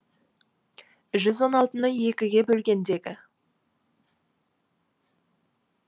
жүз он алтыны екіге бөлгендегі